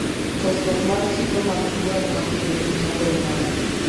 Kosruok mar chiro mag gwen ma kienyeji chando ohala